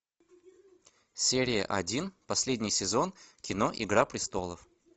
серия один последний сезон кино игра престолов